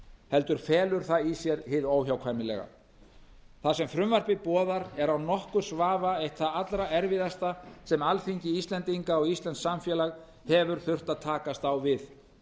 heldur felur það í sér hið óhjákvæmilega það sem frumvarpið boðar er án nokkurs vafa eitt það allra erfiðasta sem alþingi íslendinga og íslenskt samfélag hefur þurft að takast á við